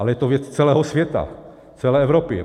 Ale je to věc celého světa, celé Evropy.